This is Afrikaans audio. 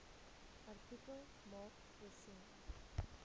artikel maak voorsiening